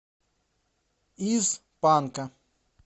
из панка